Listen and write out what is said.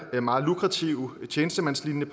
meget lukrative tjenestemandslignende